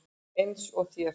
Eins og þér.